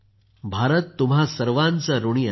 भारत तुम्हा सर्वांचा ऋणी आहे